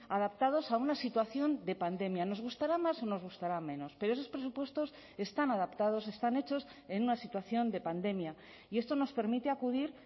adaptados a una situación de pandemia nos gustará más o nos gustará menos pero esos presupuestos están adaptados están hechos en una situación de pandemia y esto nos permite acudir